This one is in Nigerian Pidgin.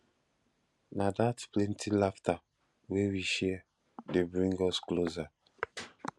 na dat plenty laughter wey we share dey bring us closer